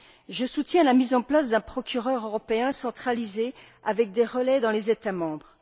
Je soutiens la mise en place d'un procureur européen centralisé, avec des relais dans les États membres.